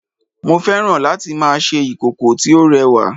mo fẹ́ràn láti ma ṣe ìkòkò tí ó rẹwa